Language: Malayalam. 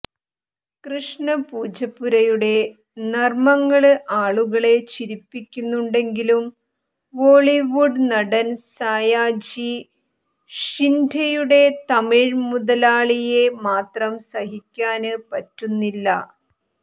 കൃഷ്ണ പൂജപ്പുരയുടെ നര്മങ്ങള് ആളുകളെ ചിരിപ്പിക്കുന്നുണ്ടെങ്കിലും ബോളിവുഡ് നടന് സായാജി ഷിന്ഡെയുടെ തമിഴ് മുതലാളിയെ മാത്രം സഹിക്കാന് പറ്റുന്നില്ല